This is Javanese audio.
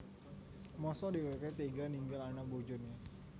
Mosok dhèwèké téga ninggal anak bojoné